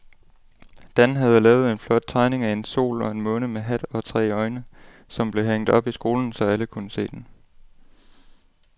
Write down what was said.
Dan havde lavet en flot tegning af en sol og en måne med hat og tre øjne, som blev hængt op i skolen, så alle kunne se den.